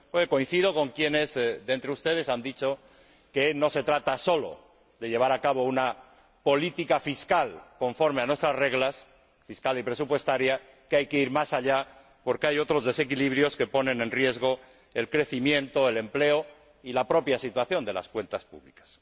Coincido con quienes de entre ustedes han dicho que no se trata solo de llevar a cabo una política fiscal y presupuestaria conforme a nuestras reglas, sino que hay que ir más allá, porque hay otros desequilibrios que ponen en riesgo el crecimiento, el empleo y la propia situación de las cuentas públicas.